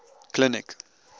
clinic